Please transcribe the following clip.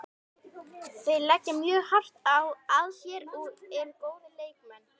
Þeir leggja mjög hart að sér og eru góðir leikmenn.